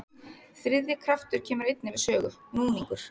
Þriðji kraftur kemur einnig við sögu, núningur.